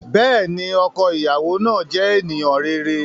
Bẹẹni, ọkọ iyawo naa jẹ eniyan rere.